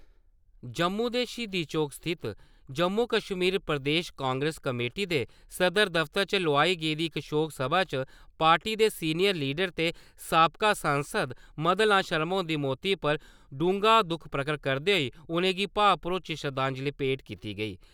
जम्मू दे शहीदी चौक स्थित जम्मू-कश्मीर प्रदेश कांग्रेस कमेटी दे सदर दफ्तर च लोआई गेदी इक शौक सभा च पार्टी दे सीनियर लीडर ते साबका सांसद मदन लाल शर्मा हुंदी मौती पर डूंह्गा दुक्ख प्रगट करदे होई उ'नेंगी भावे-भरोची शरदांजली भेंट कीती गेई ।